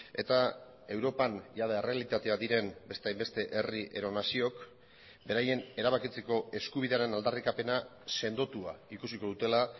eta europan jada errealitatea diren beste hainbeste herri edo naziok beraien erabakitzeko eskubidearen aldarrikapena sendotua ikusiko dutela